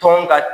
Tɔn ka